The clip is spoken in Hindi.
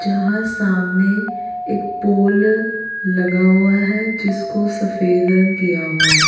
जहाँ सामने एक पोल लगा हुआ है जिसको सफेद रंग किया हुआ है।